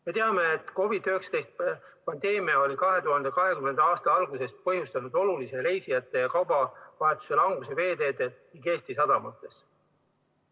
Me teame, et COVID-19 pandeemia on 2020. aasta algusest põhjustanud olulise reisijate ja kaubaveo languse meie veeteedel ja Eesti sadamates.